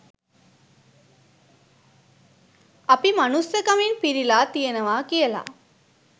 අපි මනුස්සකමින් පිරිලා තියෙනවා කියලා